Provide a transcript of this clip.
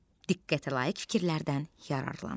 Diqqətəlayiq fikirlərdən yararlan.